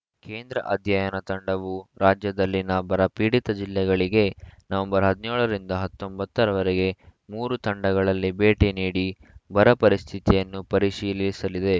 ಕೇಂದ್ರ ಅಧ್ಯಯನ ತಂಡವು ರಾಜ್ಯದಲ್ಲಿನ ಬರಪೀಡಿತ ಜಿಲ್ಲೆಗಳಿಗೆ ನವೆಂಬರ್ ಹದಿನೇಳ ರಿಂದ ಹತ್ತೊಂಬತ್ತ ರವರೆಗೆ ಮೂರು ತಂಡಗಳಲ್ಲಿ ಭೇಟಿ ನೀಡಿ ಬರಪರಿಸ್ಥಿತಿಯನ್ನು ಪರಿಶೀಲಿಸಲಿದೆ